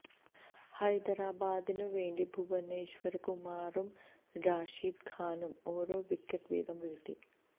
ഹൈദരാബാദിനുവേണ്ടി ഭുവനേശ്വര് കുമാറും റാഷിദ് ഖാനും ഓരോ വിക്കറ്റ് വീതം വീഴ്ത്തി